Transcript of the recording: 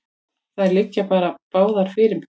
Þær liggi báðar fyrir.